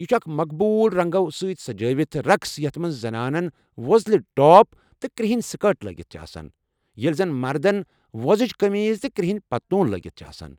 یہِ چھُ اکھ مقبوُل رنٛگو سۭتۍ سجٲوِتھ رقس یتھ مَنٛز زنانن ووزلہِ ٹاپ تہٕ کٔرٛہٕنۍ سکٲرٹ لٲگِتھ چھِ آسان، ییٚلہِ زَن مردن ووزٕج قٔمیٖض تہٕ کرٛہٕنۍ پتلوٗن لٲگِتھ چھِ آسان۔